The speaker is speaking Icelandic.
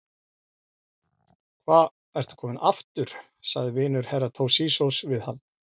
Hva ertu kominn aftur, sagði vinur Herra Toshizoz við hann.